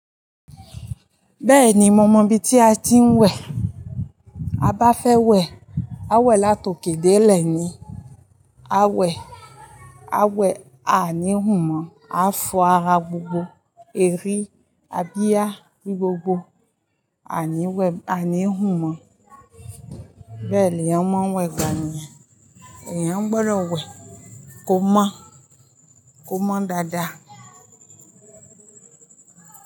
Bẹ́ẹ̀ni, mo mọ ibi tí a ti ń wẹ̀. A bá fẹ́ wẹ̀, a wẹ̀ láti òkè dé ìlẹ̀ ni. A wẹ̀, a wẹ̀ a níhù mọ́, a fo ara gbogbo. Èri, abíyà ni gbogbo a níhù mọ́. Bẹ́ẹ̀ ní ẹ ń wẹ̀ gbànì ẹ́. Ẹ̀yan gbọdọ̀ wẹ̀ kó mọ́, kó mọ́ dada.